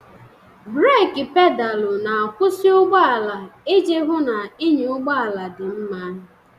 Breeki Pedaalụ na-akwụsị ụgbọ ala iji hụ na ịnya ụgbọ ala dị mma.